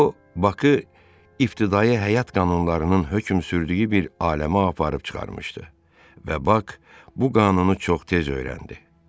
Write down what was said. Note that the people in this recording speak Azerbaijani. O, Bakı ibtidai həyat qanunlarının hökm sürdüyü bir aləmə aparıb çıxarmışdı və Bak bu qanunu çox tez öyrəndi.